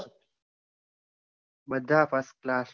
બધા first class